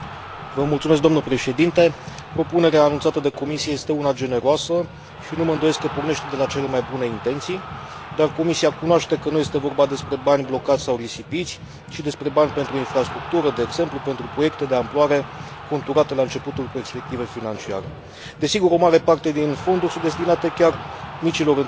Propunerea anunțată de Comisie este una generoasă și nu mă îndoiesc că pornește de la cele mai bune intenții, dar Comisia cunoaște că nu este vorba despre bani blocați sau risipiți, ci despre bani pentru infrastructură, de exemplu, pentru proiecte de amploare conturate la începutul perspectivei financiare. Desigur, o mare parte din fonduri sunt destinate chiar micilor întreprinderi și programelor pentru tineret.